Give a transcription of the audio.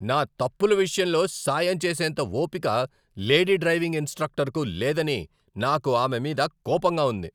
నా తప్పుల విషయంలో సాయం చేసేంత ఓపిక లేడీ డ్రైవింగ్ ఇన్స్ట్రక్టర్కు లేదని నాకు ఆమె మీద కోపంగా ఉంది.